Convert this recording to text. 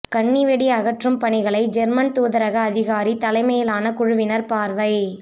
கண்ணிவெடி அகற்றும் பணிகளை ஜேர்மன் தூதரக அதிகாரி தலைமையிலான குழுவினர் பார்வை